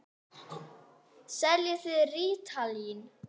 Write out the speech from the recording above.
Seljið þið rítalín?